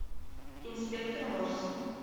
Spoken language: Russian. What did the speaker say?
инспектор морс